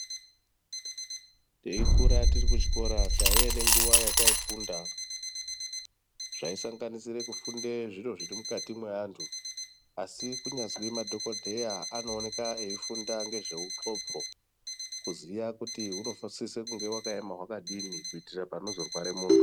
Teikura tirikuchikora taiye nenguva yataifunda zvaisanganisire kufunde zviro zvirimukati mweantu. Asi kunyazwi madhokodheya anooneka eifunda ngezveuxopo kuziya kuti unosise kunge wakaema wakadini kuitire panozorware muntu.